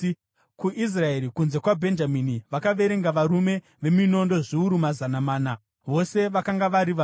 KuIsraeri, kunze kwaBhenjamini vakaverenga varume veminondo zviuru mazana mana, vose vakanga vari varwi.